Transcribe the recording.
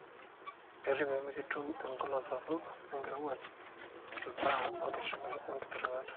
kerip pemikitum enkolong sapuk, enkirowuaj, ilbaa ongitirat.